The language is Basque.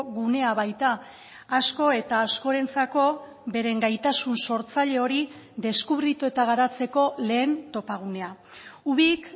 gunea baita asko eta askorentzako beren gaitasun sortzaile hori deskubritu eta garatzeko lehen topagunea ubik